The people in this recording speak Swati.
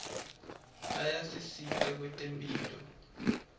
ayasisita kwetemphilo